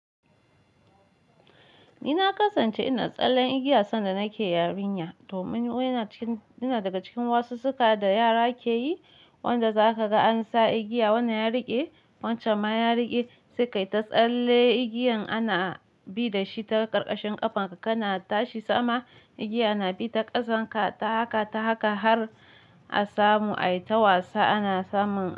Ni na kasance ina tsallen igiya sanda nake yarinya domin ina cikin, ina daga cikin wasu suka da yara ke yi wanda za ka ga an sa igiya wannan ya riƙe, wancan ma ya riƙe sai ka yi ta tsalle igiyan ana bi da shi ta ƙarƙashin ƙafanka kana tashi sama, igiya na bi ta ƙasarka ta haka ta haka har a samu ai ta wasa ana samun.